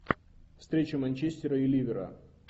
встреча манчестера и ливера